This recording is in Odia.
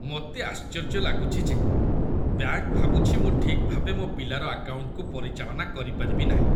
ମୋତେ ଆଶ୍ଚର୍ଯ୍ୟ ଲାଗୁଛି ଯେ ବ୍ୟାଙ୍କ ଭାବୁଛି ମୁଁ ଠିକ୍ ଭାବେ ମୋ ପିଲାର ଆକାଉଣ୍ଟକୁ ପରିଚାଳନା କରିପାରିବି ନାହିଁ।